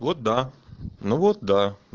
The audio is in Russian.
вот да ну вот да